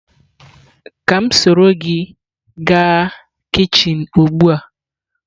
Ka m soro gi gaa kichin ugbua?